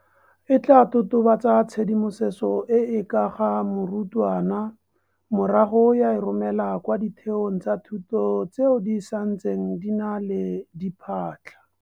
E tla totobatsa tshedimosetso e e ka ga morutwana morago ya e romela kwa ditheong tsa thuto tseo di santseng di na le diphatlha.